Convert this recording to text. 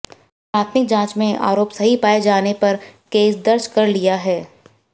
प्राथमिक जांच में आरोप सही पाए जाने पर केस दर्ज कर लिया है